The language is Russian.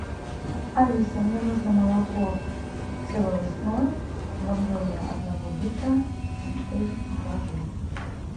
алиса мне нужно молоко село лесное в объеме одного литра три и два жирность